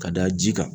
Ka da ji kan